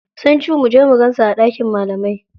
Sun cu muje mu gansu a ɗakin malamai.